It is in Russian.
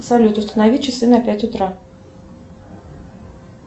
салют установи часы на пять утра